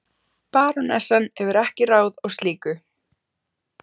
fyrrinótt var ég á skíðanámskeiði, kennari þar var Óskar Þormóðsson.